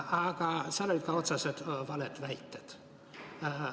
Aga oli ka otseselt valesid väiteid.